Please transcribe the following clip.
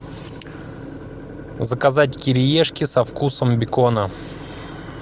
заказать кириешки со вкусом бекона